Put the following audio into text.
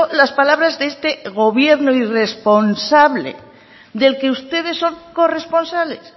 las palabras de este gobierno irresponsable del que ustedes son corresponsables